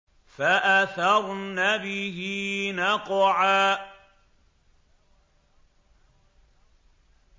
فَأَثَرْنَ بِهِ نَقْعًا